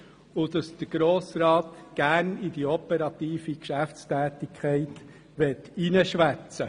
Weiter sagen sie aus, dass der Grosse Rat gerne in die operative Geschäftstätigkeit hineinreden möchte.